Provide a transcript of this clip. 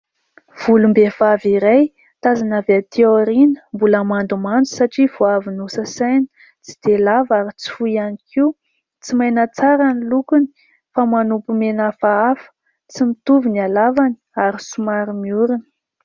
Volom-behivavy iray tazana avy aty aoriana, mbola mandomando satria vao avy nosasana. Tsy dia lava ary tsy fohy ihany koa, tsy maina tsara ny lokony, fa manopy mena hafahafa, tsy mitovy ny halavany ary somary miorona.